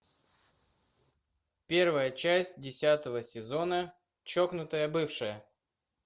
первая часть десятого сезона чокнутая бывшая